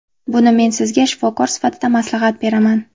Buni men sizga shifokor sifatida maslahat beraman.